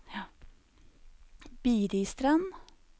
Biristrand